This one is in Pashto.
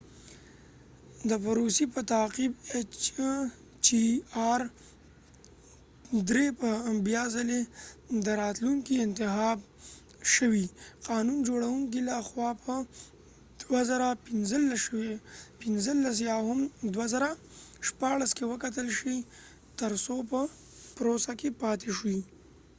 د پروسی په تعقیب ایچ چې آر -3- hjr به بیا څلی د راتلونکې انتخاب شوي قانون جوړونکو له خوا په 2015 یا هم 2016 کې وکتل شي تر څو په پروسه کې پاتی شي